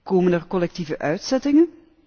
Komen er collectieve uitzettingen?